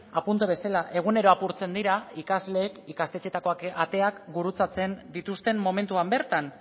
apuntu bezala egunero apurtzen dira ikasleek ikastetxeetakoak ateak gurutzatzen dituzten momentuan bertan